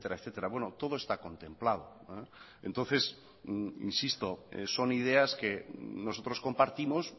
etcétera bueno todo está contemplado entonces insisto son ideas que nosotros compartimos